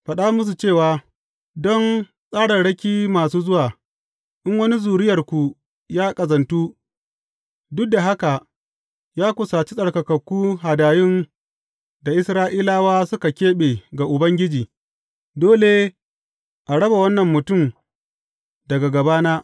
Faɗa musu cewa, Don tsararraki masu zuwa, in wani zuriyarku ya ƙazantu, duk da haka ya kusaci tsarkakakku hadayun da Isra’ilawa suka keɓe ga Ubangiji, dole a raba wannan mutum daga gabana.